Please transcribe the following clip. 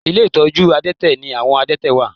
Ilé ìtọ́jú àdẹ́tẹ̀ ni àwọn àdẹ́tẹ̀ wà